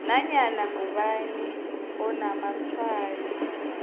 nanyana ngubani onamatshwayo